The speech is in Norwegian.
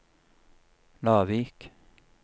Lavik